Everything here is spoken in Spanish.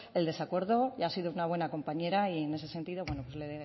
el desacuerdo y ha sido una buena compañera y en ese sentido le